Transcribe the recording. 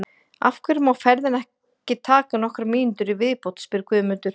Af hverju má ferðin ekki taka nokkrar mínútur í viðbót? spyr Guðmundur.